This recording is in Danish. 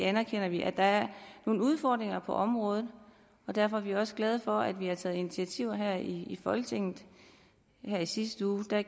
anerkender vi at der er nogle udfordringer på området og derfor er vi også glade for at vi har taget initiativer her i folketinget her i sidste uge